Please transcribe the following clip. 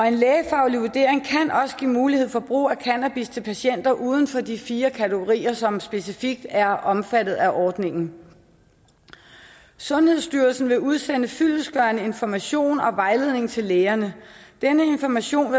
en lægefaglig vurdering kan også give mulighed for brug af cannabis til patienter uden for de fire kategorier som specifikt er omfattet af ordningen sundhedsstyrelsen vil udsende fyldestgørende information og vejledning til lægerne denne information